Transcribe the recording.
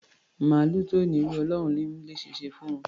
Màlúù tí ò n'írù, Ọlọ́run ni í lé eṣinṣin fún un.